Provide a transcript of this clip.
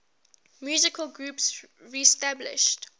musical groups reestablished